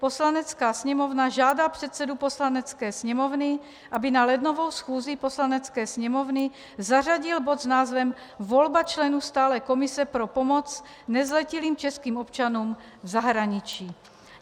Poslanecká sněmovna žádá předsedu Poslanecké sněmovny, aby na lednovou schůzi Poslanecké sněmovny zařadil bod s názvem volba členů stálé komise pro pomoc nezletilým českým občanům v zahraničí.